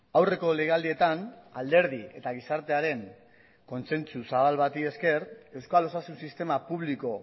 aurreko legealdietan alderdi eta gizartearen kontzentzu zabal bati esker euskal osasun sistema publiko